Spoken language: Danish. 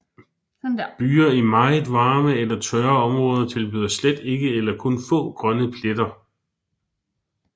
Byer i meget varme eller tørre områder tilbyder slet ikke eller kun få grønne pletter